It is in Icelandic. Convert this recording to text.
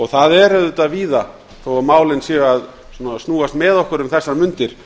það er auðvitað víða þó að málin séu að snúast með okkur um þessar mundir